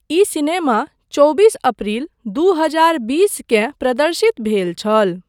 ई cinema चौबीस April दू हजार बीसकेँ प्रदर्शित भेल छल।